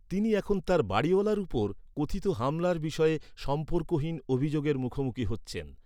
তিনি এখন তার বাড়িওয়ালার উপর কথিত হামলার বিষয়ে সম্পর্কহীন অভিযোগের মুখোমুখি হচ্ছেন।